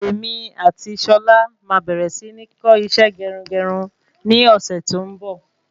Èmi ati Ṣọlá máa bẹ̀rẹ̀ si ni kọ́ isẹ́ gerugeru ní ọ̀sẹ̀ tí ó ń bọ̀